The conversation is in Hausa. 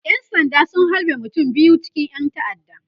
ƴan sanda sun halbe mutum biyu cikin ƴan ta'adda